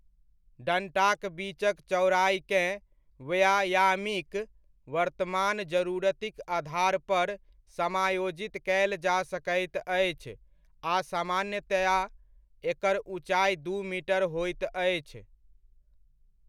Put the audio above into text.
डन्टाक बीचक चौड़ाइकेँ व्यायामीक वर्तमान जरूरतिक आधार पर समायोजित कयल जा सकैत अछि आ सामान्तया एकर ऊँचाइ दू मीटर होइत अछि।